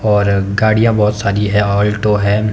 और गाड़ियां बहुत सारी है आल्टो है।